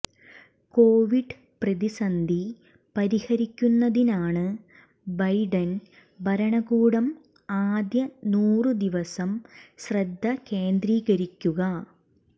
Covid പ്രതിസന്ധി പരിഹരിക്കുന്നതിനാണ് Biden ഭരണകൂടം ആദ്യ നൂറു ദിവസം ശ്രദ്ധ കേന്ദ്രീകരിക്കുക